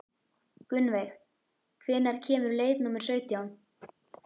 Gunnveig, hvenær kemur leið númer sautján?